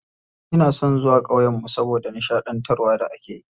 Ina son zuwa ƙauyen mu saboda nishaɗantarwar da akeyi.